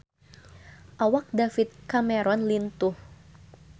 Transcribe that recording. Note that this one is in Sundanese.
Awak David Cameron lintuh